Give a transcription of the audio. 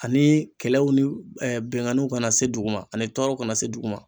Ani kɛlɛw ni binganniw kana se dugu ma, ani tɔɔrɔw kana se dugu ma.